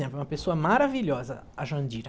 Ela foi uma pessoa maravilhosa, a Jandira.